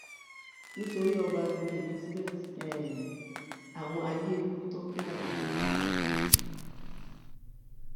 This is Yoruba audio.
nítorí ọbabìnrin elizabeth um àwọn ayé ń bú tọpẹ alábí um